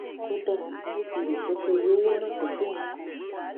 kódà bó tilè jẹ pé iye owó náà kò tó nǹkan